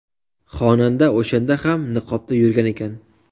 Xonanda o‘shanda ham niqobda yurgan ekan.